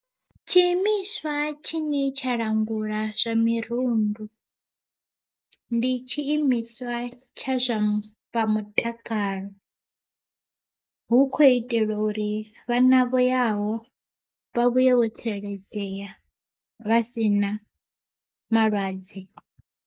Tshiimiswa tshine tsha langula zwa mirundu, ndi tshiimiswa tsha zwa mutakalo hu kho itelwa uri vhana vho yaho vha vhuye vho tsireledzea vha si na malwadze.